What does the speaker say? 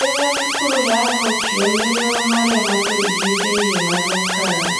Rĩrĩa mĩkuri yathukio nĩrĩo marĩa matũrigicĩirie mathũkaga